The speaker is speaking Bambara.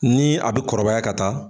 Nii a be kɔrɔbaya ka taa